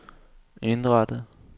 indrettet